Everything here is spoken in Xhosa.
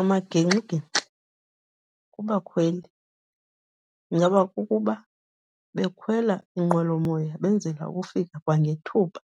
Amagingxigingxi kubakhweli ingaba kukuba bekhwela inqwelomoya benzela ukufika kwangethuba